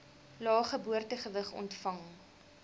lae geboortegewig ontvang